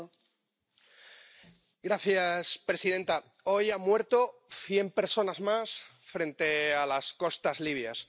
Señora presidenta, hoy han muerto cien personas más frente a las costas libias.